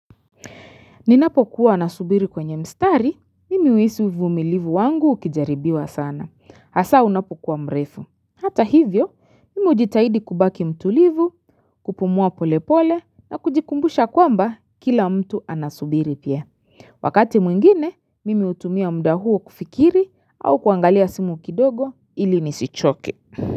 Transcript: Ninapokuwa nasubiri kwenye mstari, mimi huhisi uvumilivu wangu ukijaribiwa sana. Hasa unapokuwa mrefu. Hata hivyo, mimi hujitahidi kubaki mtulivu, kupumua pole pole na kujikumbusha kwamba kila mtu anasubiri pia. Wakati mwingine, mimi hutumia muda huo kufikiri au kuangalia simu kidogo ili nisichoke.